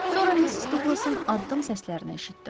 Sonra Missis Duqlasın addım səslərini eşitdim.